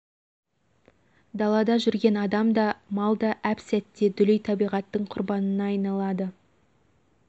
далада жүрген адам да мал да әп сәтте дүлей табиғаттың құрбанына айналады